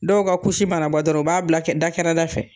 Dɔw ka mana bɔ dɔrɔn u b'a bila kɛ da kɛrɛ da fɛ